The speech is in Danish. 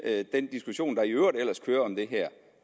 den diskussion der i øvrigt ellers kører om det her